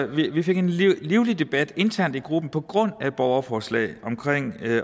vi fik en livlig debat internt i gruppen på grund af borgerforslaget om